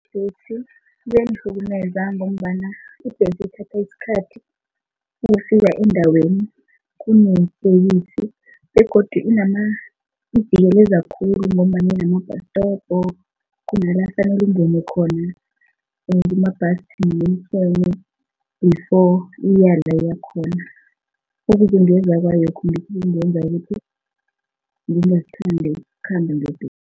Kuyangihlukumeza ngombana ibhesi ithatha isikhathi ukufika endaweni begodu khulu ngombanyana inama-bus stop, khona la afanele ungene khona before iyala iyakhona ukuzungeza kwayo lokhu ngikho okungenza ukuthi ngingakuthandi ukukhamba ngebhesi.